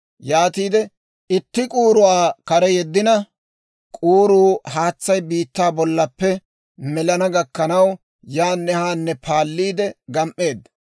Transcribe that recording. yaatiide itti k'uuruwaa kare yeddina; k'uuruu haatsay biittaa bollappe melana gakkanaw, yaanne haanne paalliidde gam"eedda.